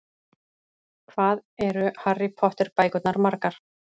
Hvað eru Harry Potter bækurnar margar?